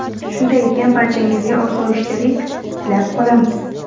Shunday ekan, barchangizga osoyishtalik tilab qolamiz!